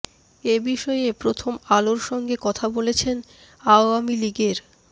এ বিষয়ে প্রথম আলোর সঙ্গে কথা বলেছেন আওয়ামী লীগের